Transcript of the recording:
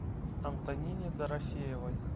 антонине дорофеевой